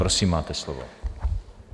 Prosím, máte slovo.